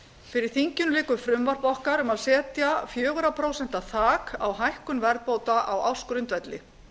fyrir þinginu liggur frumvarp okkar um að setja fjögur prósent þak á hækkun verðbóta á ársgrundvelli